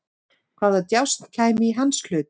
Hvaða djásn kæmi í hans hlut?